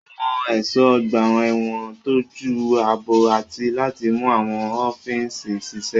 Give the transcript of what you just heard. Àwọn ẹ̀ṣọ́ ọgbà ẹ̀wọ̀n ń tọ́jú ààbò àti láti mú àwọn òfin ṣiṣẹ́.